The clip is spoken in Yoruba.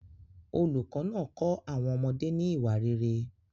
Olùkọ́ náà kọ́ àwọn ọmọdé ní ìwà rere.